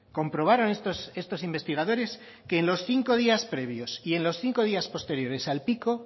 comprobaron estos investigadores que en los cinco días previos y en los cinco días posteriores al pico